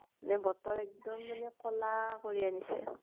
মানে বতৰ এক্দম মানে কʼলা কৰি আনিছে।